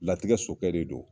Latigɛ sokɛ de do.